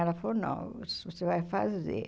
Ela falou, não, você vai fazer.